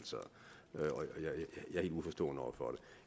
jeg er helt uforstående over for